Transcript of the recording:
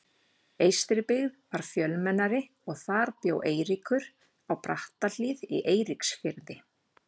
Eystribyggð var fjölmennari og þar bjó Eiríkur, á Brattahlíð í Eiríksfirði.